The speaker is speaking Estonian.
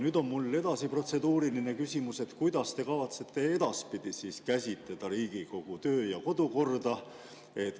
Nüüd on mul protseduuriline küsimus, et kuidas te kavatsete edaspidi käsitleda Riigikogu töö‑ ja kodukorda.